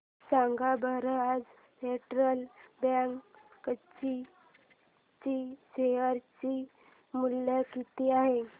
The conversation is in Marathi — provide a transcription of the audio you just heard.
सांगा बरं आज फेडरल बँक कोची चे शेअर चे मूल्य किती आहे